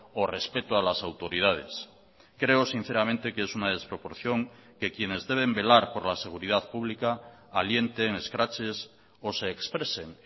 o respeto a las autoridades creo sinceramente que es una desproporción que quienes deben velar por la seguridad pública alienten escraches o se expresen